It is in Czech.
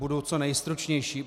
Budu co nejstručnější.